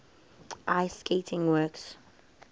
ice skating works